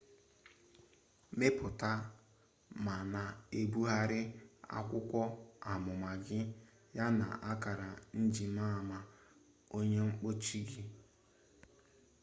mepụta ma na-ebugharị akwụkwọ amụma gị ya na akara njimama onye mkpuchi gị